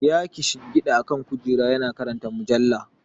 Ya kishingida akan kujera yana karanta mujalla.